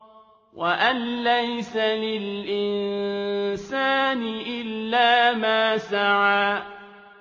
وَأَن لَّيْسَ لِلْإِنسَانِ إِلَّا مَا سَعَىٰ